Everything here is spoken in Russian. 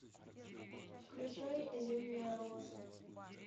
включай зимняя роза